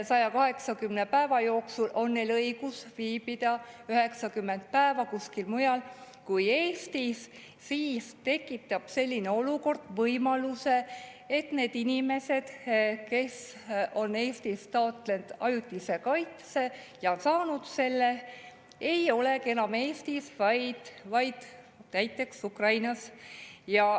180 päeva jooksul on neil õigus viibida 90 päeva kuskil mujal kui Eestis ja see tekitab võimaluse, et need inimesed, kes on Eestist taotlenud ajutist kaitset ja saanud selle, ei olegi enam Eestis, vaid näiteks Ukrainas.